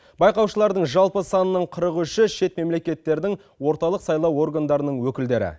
байқаушылардың жалпы санының қырық үші шет мемлекеттердің орталық сайлау органдарының өкілдері